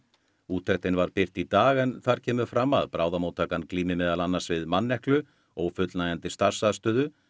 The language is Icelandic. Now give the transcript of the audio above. úttektin var birt í dag en þar kemur fram að bráðamóttakan glími meðal annars við manneklu ófullnægjandi starfsaðstöðu